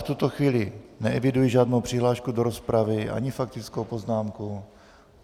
V tuto chvíli neeviduji žádnou přihlášku do rozpravy ani faktickou poznámku.